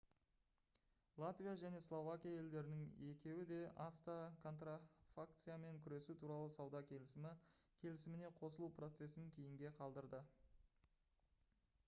латвия және словакия елдерінің екеуі де acta контрафакциямен күресу туралы сауда келісімі келісіміне қосылу процесін кейінге қалдырды